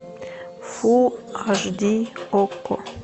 фул аш ди окко